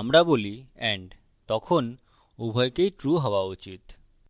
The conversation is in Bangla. আমরা বলি and তখন উভয়কেই true হওয়া উচিত